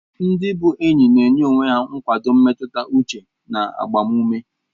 Ndị bu enyi na-enye onwe ha nkwado mmetụta uche na agbamume.